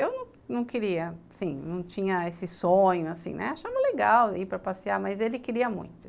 Eu não queria, assim, não tinha esse sonho, assim, né, achava legal ir para passear, mas ele queria muito.